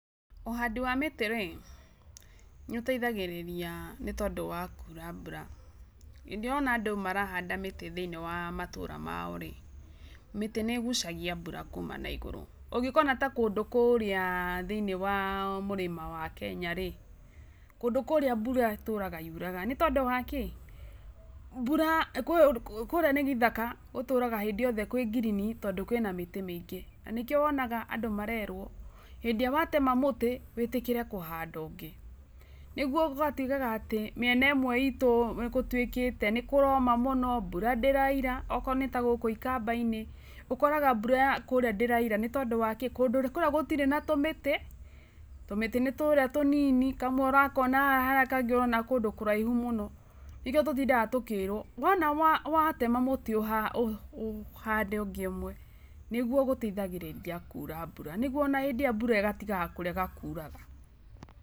Ũhandi wa mĩtĩ rĩ, nĩ ũtaithagĩrĩria nĩ tondũ wa kuura mbura. Hĩndĩ ĩrĩa ũrona andũ marahanda mĩtĩ thĩinĩ wa matĩra maorĩ, mĩtĩ nĩ ĩgucagia mbura kuma na igũrũ. Ũngĩkona ta kũndũ kũrĩa thĩinĩ wa mũrĩma wa Kenya rĩ, kũndũ kũrĩa mbura ĩtũraga yuraga. Nĩ tondũ wa kĩ? Mbura, kũrĩa nĩ gĩthaka, gũtũraga hĩndĩ yothe kwĩ ngirini tondũ kwĩna mĩtĩ mĩingĩ, na nĩkĩo wonaga andũ marerwo, hĩndĩ ĩrĩa watema mũtĩ, wĩtĩkĩre kũhanda ũngĩ. Nĩguo gũgatigaga atĩ mĩena ĩmwe itũ nĩ gũtuĩkĩte nĩ kũroma mũno, mbura ndĩroira, okorwo nĩ tagũkũ ikamba-inĩ, ũkoraga mbura ya kũrĩa ndĩraura. Nĩ tondũ wa kĩ? Kũndũ kũrĩa gũtirĩ na tũmĩtĩ, tũmĩtĩ nĩ tũrĩa tũnini, kamwe ũrakona haha karĩa kangĩ ũrona kũndũ kũraihu mũno. Nĩkĩo tũtindaga tũkĩrwo, wona watema mũtĩ ũhande ũngĩ ũmwe, nĩguo gũtaithagĩrĩria kura mbura nĩguo ona hĩndĩ ĩrĩa iona mbura ĩgatigaga kũrega kuraga.